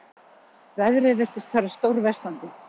Veðrið virtist fara stórversnandi.